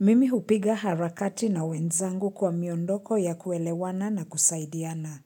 Mimi hupiga harakati na wenzangu kwa miondoko ya kuelewana na kusaidiana.